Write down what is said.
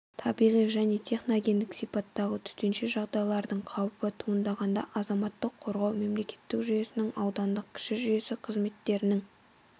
табиғи және техногендік сипаттағы төтенше жағдайлардың қаупі туындағанда азаматтық қорғау мемлекеттік жүйесінің аудандық кіші жүйесі қызметтерінің